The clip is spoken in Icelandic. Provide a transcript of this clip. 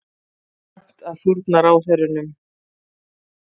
Rangt að fórna ráðherrunum